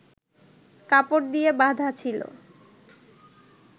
কাপড় দিয়ে বাঁধা ছিল